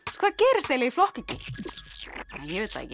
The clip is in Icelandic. hvað gerist ef ég flokka ekki ég veit það ekki